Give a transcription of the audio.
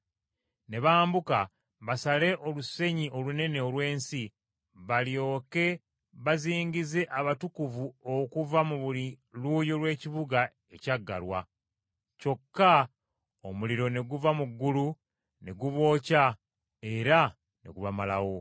Ne bambuka basale olusenyi olunene olw’ensi balyoke bazingize abatukuvu okuva ku buli luuyi lw’ekibuga ekyagalwa. Kyokka omuliro ne guva mu ggulu ne gubookya era ne gubamalawo.